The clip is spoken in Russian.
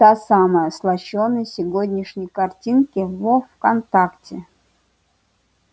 та самая с лощёной сегодняшней картинки во вконтакте